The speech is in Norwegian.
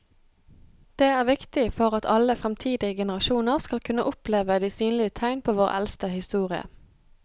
Det er viktig for at alle fremtidige generasjoner skal kunne oppleve de synlige tegn på vår eldste historie.